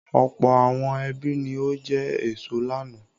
Ọ̀pọ̀ àwọn ẹbí ni ó jẹ èso lánàá.